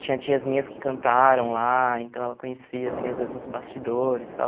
Tinha tias minhas que cantaram lá, então ela conhecia, assim, às vezes os bastidores e tal.